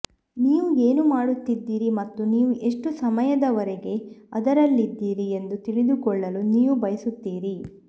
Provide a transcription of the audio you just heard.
ನೀವು ಏನು ಮಾಡುತ್ತಿದ್ದೀರಿ ಮತ್ತು ನೀವು ಎಷ್ಟು ಸಮಯದವರೆಗೆ ಅದರಲ್ಲಿದ್ದೀರಿ ಎಂದು ತಿಳಿದುಕೊಳ್ಳಲು ನೀವು ಬಯಸುತ್ತೀರಿ